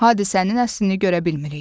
Hadisənin əslini görə bilmirik.